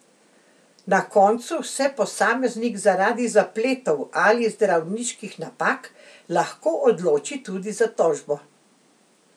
Na koncu se posameznik zaradi zapletov ali zdravniških napak lahko odloči tudi za tožbo.